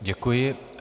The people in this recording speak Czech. Děkuji.